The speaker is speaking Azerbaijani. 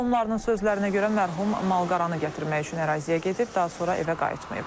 Qohumlarının sözlərinə görə mərhum malqaranı gətirmək üçün əraziyə gedib, daha sonra evə qayıtmayıb.